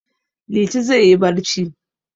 Liti zai yi barci.